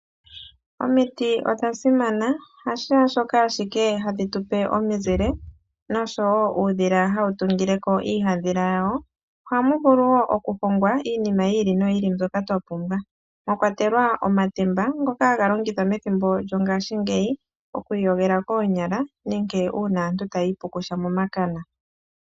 Omiti odha simana hashaashoka ashike hadhi tupe omizile noshowo uudhila hawu tungile ko iihaadhila yawo ohamu vulu wo okuhongwa iinima yi ili noyi ili mbyoka twa pumbwa mwa kwatelwa omatemba ngoka haga longithwa methimbo lyongashingeyi okwiiyogela koonyala nenge uuna aantu taya ipukusha momakana.